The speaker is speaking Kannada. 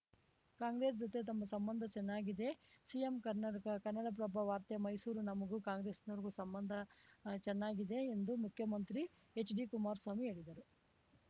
ಕಾಂಗ್ರೆಸ್‌ ಜೊತೆ ತಮ್ಮ ಸಂಬಂಧ ಚೆನ್ನಾಗಿದೆ ಸಿಎಂ ಕನ್ನಡಕ ಕನ್ನಡಪ್ರಭ ವಾರ್ತೆ ಮೈಸೂರು ನಮಗೂ ಕಾಂಗ್ರೆಸ್‌ನವ್ರುಗೂ ಸಂಬಂಧ ಚೆನ್ನಾಗಿದೆ ಎಂದು ಮುಖ್ಯಮಂತ್ರಿ ಎಚ್‌ಡಿ ಕುಮಾರಸ್ವಾಮಿ ಹೇಳಿದ್ದಾರೆ